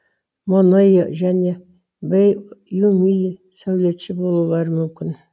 монео және бэй юймин сәулетші болулары мүмкін